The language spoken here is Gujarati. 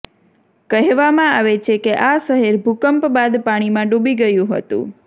કહેવામાં આવે છે કે આ શહેર ભૂકંપ બાદ પાણીમાં ડૂબી ગયું હતું